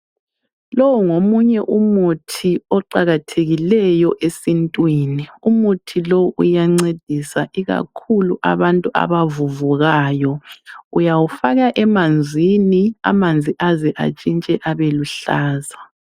Lowu ngomunye umuthi oqakathekileyo esintwini. Umuthi lo uyancedisa ikakhulu abantu abavuvukayo. Uyawufaka emanzini amanzi aze atshintshe abeluhlaza.